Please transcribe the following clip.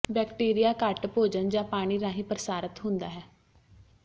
bacteria ਘੱਟ ਭੋਜਨ ਜਾਂ ਪਾਣੀ ਰਾਹੀਂ ਪ੍ਰਸਾਰਤ ਹੁੰਦਾ ਹੈ